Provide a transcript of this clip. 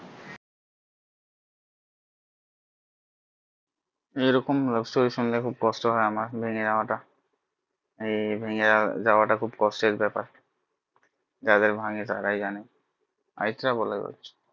এ রকম love story শুনলে খুব কষ্ট হয় আমার মেনে নেওয়া টা এই ভেঙে যাওয়া টা খুব কষ্টের ব্যাপার যাদের ভাঙে তারাই জানে অরিত্রা এবার বলো কিছু